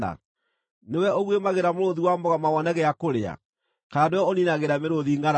“Nĩwe ũguĩmagĩra mũrũũthi wa mũgoma wone gĩa kũrĩa, kana nĩwe ũniinagĩra mĩrũũthi ngʼaragu